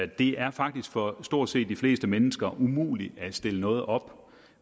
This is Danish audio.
det er faktisk for stort set de fleste mennesker umuligt at stille noget op